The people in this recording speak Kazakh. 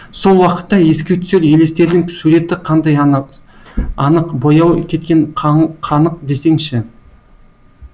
сол уақытта еске түсер елестердің суреті қандай анық бояуы кеткен қанық десеңші